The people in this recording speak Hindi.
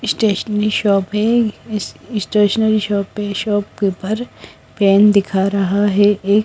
स्टेशनरी शॉप है ये स्टेशनरी शॉप पे शॉप के ऊपर पेन दिखा रहा है एक--